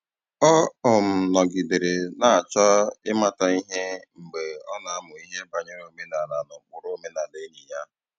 Ọ um nọgidere na-achọ ịmata ihe mgbe ọ na-amụ ihe banyere omenala na ụkpụrụ omenala enyi ya